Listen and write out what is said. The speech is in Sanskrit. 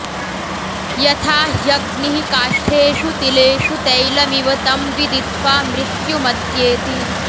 यथा ह्यग्निः काष्ठेषु तिलेषु तैलमिव तं विदित्वा मृत्युमत्येति